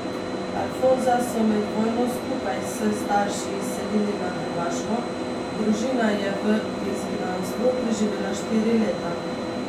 Alfonza so med vojno skupaj s starši izselili na Hrvaško, družina je v izgnanstvu preživela štiri leta.